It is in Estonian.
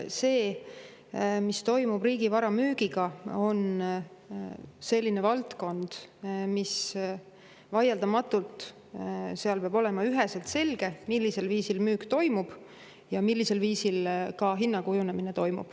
See, mis toimub riigivara müügiga, on selline valdkond, kus vaieldamatult peab olema üheselt selge, millisel viisil müük toimub ja millisel viisil hinna kujunemine toimub.